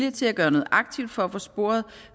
til at gøre noget aktivt for at få sporet